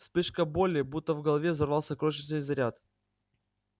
вспышка боли будто в голове взорвался крошечный заряд